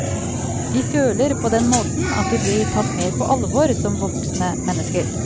De føler på den måten at de blir tatt mer på alvor som voksne mennesker.